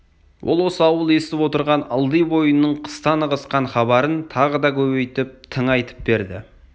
ол осы ауыл естіп отырған ылди бойының қыстан ығысқан хабарын тағы да көбейтіп тыңайтып берді